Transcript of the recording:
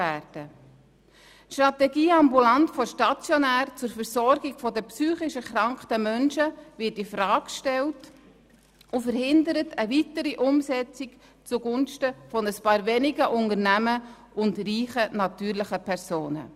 Die Strategie «Ambulant vor stationär» zur Versorgung der psychisch erkrankten Menschen wird infrage gestellt und verhindert eine weitere Umsetzung zugunsten von ein paar wenigen Unternehmen und reichen natürlichen Personen.